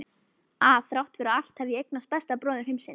Að þrátt fyrir allt hef ég eignast besta bróður heimsins.